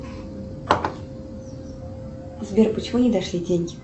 сбер почему не дошли деньги